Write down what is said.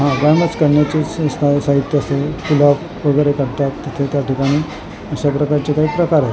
आराम च करण्याचे साहित्य आहे वगैरे करतात तिथे त्या ठिकाणी अशा प्रकारचे काही प्रकार आहेत.